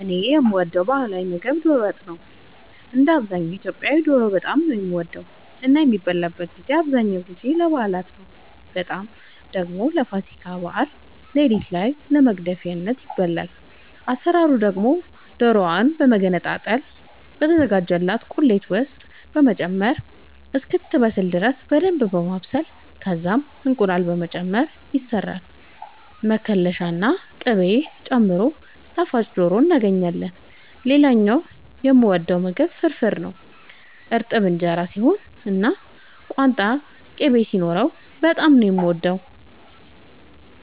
እኔ የምወደው ባህላዊ ምግብ ዶሮ ወጥ ነው። እንደ አብዛኛው ኢትዮጵያዊ ዶሮ በጣም ነው የምወደው እና የሚበላበትን ጊዜ አብዛኛውን ጊዜ ለበዓላት ነው በጣም ደግሞ ለፋሲካ በዓል ሌሊት ላይ ለመግደፊያ ይበላል። አሰራሩ ደግሞ ዶሮዋን በመገነጣጠል በተዘጋጀላት ቁሌት ውስጥ በመጨመር እስክትበስል ድረስ በደንብ በማብሰል ከዛም እንቁላል በመጨመር ይሰራል መከለሻ ና ቅቤ ጨምሮ ጣፋጭ ዶሮ እናገኛለን። ሌላኛው የምወደው ምግብ ፍርፍር ነው። እርጥብ እንጀራ ሲሆን እና ቋንጣ ቅቤ ሲኖረው በጣም ነው የምወደው።